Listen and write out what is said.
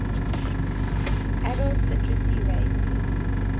adult literacy rate